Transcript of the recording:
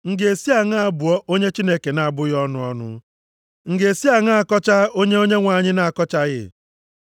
M ga-esi aṅaa bụọ onye Chineke na-abụghị ọnụ ọnụ? M ga-esi aṅaa kọchaa onye Onyenwe anyị na-akọchaghị?